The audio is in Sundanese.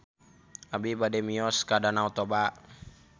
Abi bade mios ka Danau Toba